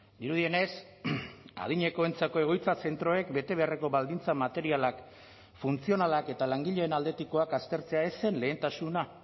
dirudienez adinekoentzako egoitza zentroek betebeharreko baldintza materialak funtzionalak eta langileen aldetikoak aztertzea ez zen lehentasuna